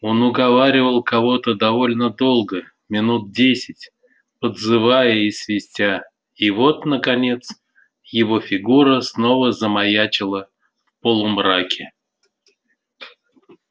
он уговаривал кого-то довольно долго минут десять подзывая и свистя и вот наконец его фигура снова замаячила в полумраке